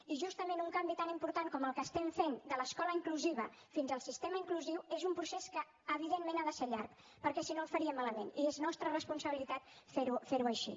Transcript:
i justament un canvi tan important com el que estem fent de l’escola inclusiva fins al sistema inclusiu és un procés que evidentment ha de ser llarg perquè si no el faríem malament i és la nostra responsabilitat fer ho així